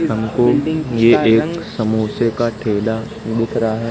हमको ये एक समोसे का ठेला दिख रहा है।